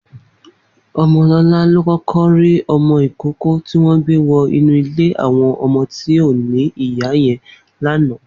Omolola ló kọkọ ri ọmọ ikóòkò tiwọn gbé wọ inù ilé awọn ọmọ ti ó ni ìyá yèn làná